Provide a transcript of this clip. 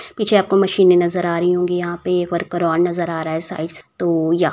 पीछे आपको मशीने नज़र आ रही होगी यहाँ पे एक वर्कर और नज़र आ रहा है तो या --